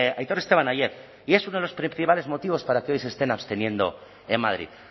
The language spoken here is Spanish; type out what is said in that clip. aitor esteban ayer y es uno de los principales motivos para que hoy se estén absteniendo en madrid